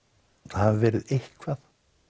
hafi verið eitthvað